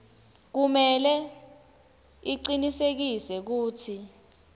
kumele acinisekise kutsi